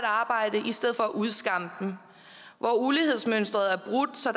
arbejde i stedet for at udskamme dem hvor ulighedsmønstret er brudt så